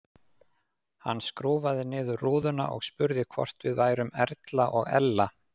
Hann skrúfaði niður rúðuna og spurði hvort við værum Erla og Ella.